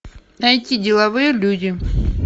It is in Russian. найти деловые люди